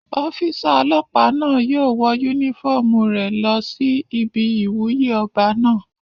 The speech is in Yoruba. Ọ́físà ọlọ́pàá náà yóò wọ yúnífọ́ọ̀mù rẹ̀ lọ sí ibi ìwúyè ọba náà